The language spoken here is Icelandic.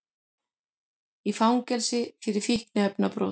Í fangelsi fyrir fíkniefnabrot